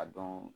A dɔn